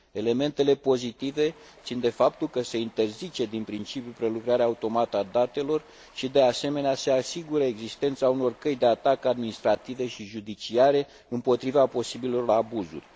Elementele pozitive țin de faptul că se interzice din principiu prelucrarea automată a datelor și, de asemenea, se asigură existența unor căi de ataca administrative și judiciare împotriva posibilelor abuzuri.